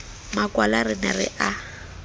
makwala re ne re a